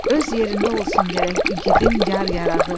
Öz yerində olsun gərək igidin yar-yarağı.